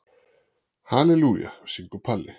Halelúja, syngur Palli.